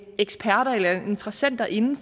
eksperter eller interessenter inde